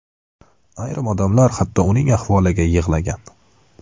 Ayrim odamlar hatto uning ahvoliga yig‘lagan.